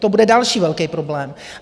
To bude další velký problém.